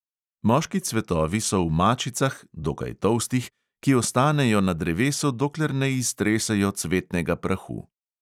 Moški cvetovi so v mačicah, dokaj tolstih, ki ostanejo na drevesu, dokler ne iztresejo cvetnega prahu.